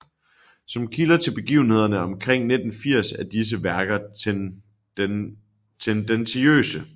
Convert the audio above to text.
Som kilder til begivenhederne omkring 980 er disse værker tendentiøse